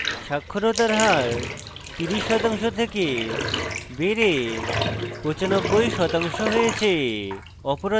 সাক্ষরতার হার 30% থেকে বেড়ে 95% হয়েছে